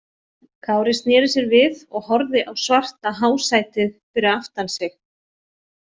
Kári sneri sér við og horfði á svarta hásætið fyrir aftan sig.